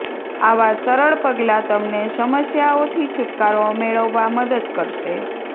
આવા સરળ પગલાં તમને સમસ્યાઓથી છૂટકારો મેળવવા મદદ કરશે